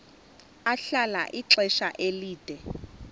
ahlala ixesha elide